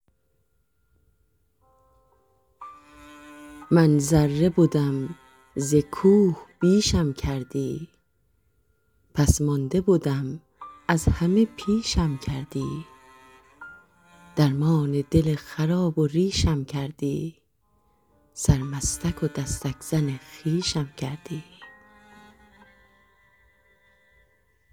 من ذره بدم ز کوه بیشم کردی پس مانده بدم از همه پیشم کردی درمان دل خراب و ریشم کردی سرمستک و دستک زن خویشم کردی